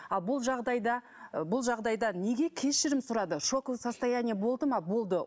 ал бұл жағдайда бұл жағдайда неге кешірім сұрады шоковое состояние болды ма болды